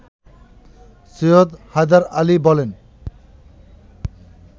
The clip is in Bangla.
সৈয়দ হায়দার আলী বলেন